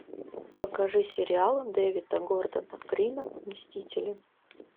покажи сериал дэвида гордона грина мстители